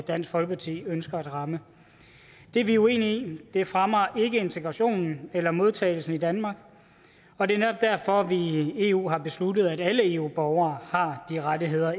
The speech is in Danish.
dansk folkeparti ønsker at ramme det er vi uenige i det fremmer ikke integrationen eller modtagelsen i danmark og det er netop derfor vi i eu har besluttet at alle eu borgere har de rettigheder